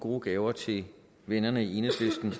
gode gaver til vennerne i enhedslisten